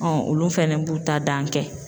olu fɛnɛ b'u ta dan kɛ .